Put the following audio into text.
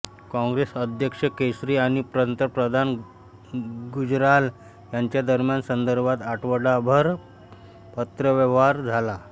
काँग्रेस अध्यक्ष केसरी आणि पंतप्रधान गुजराल यांच्यादरम्यान यासंदर्भात आठवडाभर पत्रव्यवहार झाला